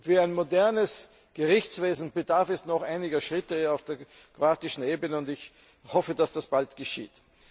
Für ein modernes Gerichtswesen bedarf es noch einiger Schritte auf der kroatischen Seite, und ich hoffe, dass das bald geschieht.